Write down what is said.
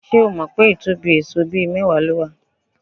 Ṣé o mọ̀ pé ìtóbí èèsó bíi mẹ́wàá ni ó wà?